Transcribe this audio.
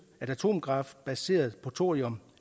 atomkraft baseret på thorium